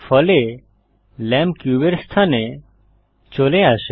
ফলে ল্যাম্প কিউবের স্থানে চলে আসে